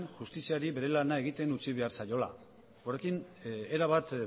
justiziari bere lana egiten utzi behar zaiola horrekin erabat